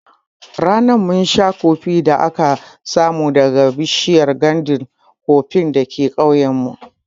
Ranan mun sha kofee da aka samo daga bishiyar nganda koffee dake ƙauyen mu